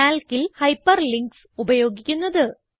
Calcൽ hyperlinks ഉപയോഗിക്കുന്നത്